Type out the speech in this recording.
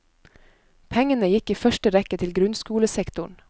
Pengene gikk i første rekke til grunnskolesektoren.